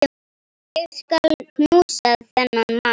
Ég skal knúsa þennan mann!